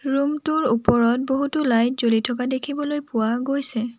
Room টোৰ ওপৰত বহুতো লাইট জ্বলি থকা দেখিবলৈ পোৱা গৈছে।